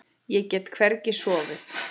Ég get hvergi sofið.